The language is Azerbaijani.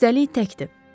Üstəlik təkdir.